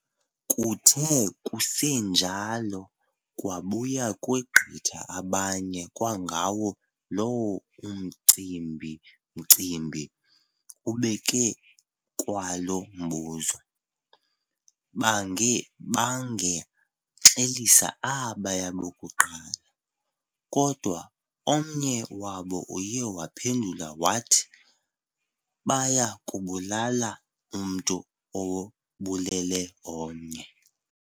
Kuthe kusenjalo kwabuya kwegqitha abanye kwangawo loo Umcimbimcimbi, ubeke kwalo mbuzo. Baange bangexelisa abaya bokuqala, kodwa omnye wabo uye waphendula wathi, baya kubulala umntu obulele omnye.